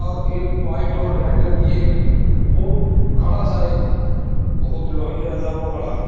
और एक वाइट और रेड कलर की एक वो खड़ा सा एक बहोत वो खड़ा सा।